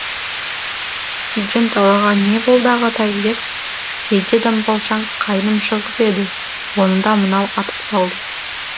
үйден далаға не болды ағатай деп жейде дамбалшаң қайным шығып еді оны да мынау атып салды